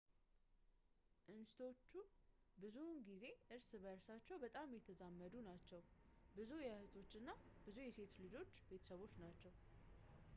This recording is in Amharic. እንስቶቹ ብዙውን ጊዜ እርስ በእርሳቸው በጣም የተዛመዱ ናቸው ፣ ብዙ የእህቶች እና የሴቶች ልጆች ቤተሰቦች ናቸው